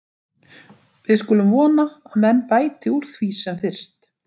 Við skulum vona að menn bæti úr því sem fyrst.